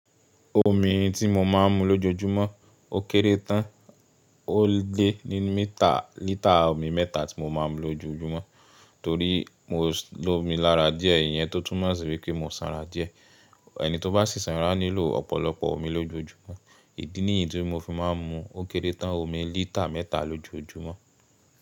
Omi tí mo máa ń mu lójoójúmọ́ ó kéré tán, ó lé ní mítà lítà omi mẹ́ta tí mo máa ń lo lójoójúmọ́ torí mo lo omi lára díẹ̀, ìyẹn tó tún mọ̀ sí wípé mo sanra díẹ̀. Ẹni tó bá sì sanra nílò ọ̀pọ̀lọpọ̀ omi lójoójúmọ́. Ìdí ní ìdí mi mo fi máa ń mu ó kéré tán omi lítà mẹ́ta lójoójúmọ́.